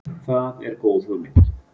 Það er góð hugmynd.